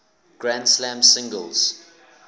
grand slam singles